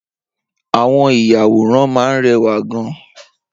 Awọn iyàwórán mà n rẹwá gán